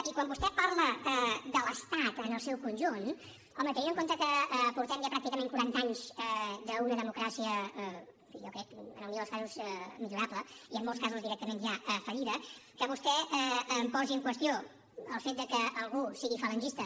i quan vostè parla de l’estat en el seu conjunt home tenint en compte que portem ja pràcticament quaranta anys d’una democràcia jo crec en el millor dels casos millorable i en molts casos directament ja fallida que vostè em posi en qüestió el fet de que algú sigui falangista